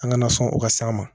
An kana sɔn o ka s'an ma